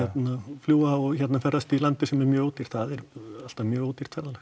fljúga og ferðast í landi sem er mjög ódýrt það er alltaf mjög ódýrt ferðalag